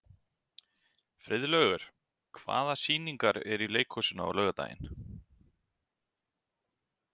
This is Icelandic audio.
Friðlaugur, hvaða sýningar eru í leikhúsinu á laugardaginn?